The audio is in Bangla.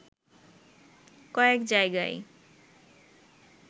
কয়েক জায়গায়